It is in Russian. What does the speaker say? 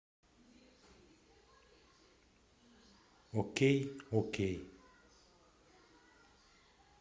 окей окей